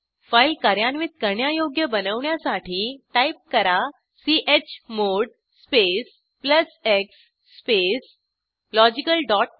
file कार्यान्वित करण्यायोग्य बनवण्यासाठी टाईप करा chmod space plus X space logical dot श